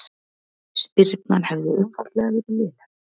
Spyrnan hefði einfaldlega verið léleg